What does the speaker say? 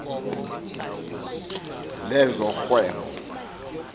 lezorhwebo